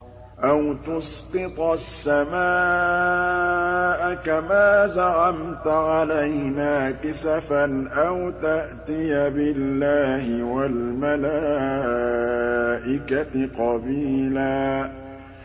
أَوْ تُسْقِطَ السَّمَاءَ كَمَا زَعَمْتَ عَلَيْنَا كِسَفًا أَوْ تَأْتِيَ بِاللَّهِ وَالْمَلَائِكَةِ قَبِيلًا